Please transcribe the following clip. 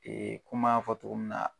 kuma fɔtogo min na